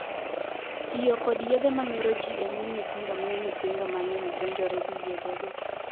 Tiyo kod yedhe ma mero jii e nyim nyithindo miyo nyithindo mang'eny donjore gi yedhe go.